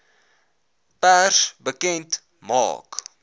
pers bekend maak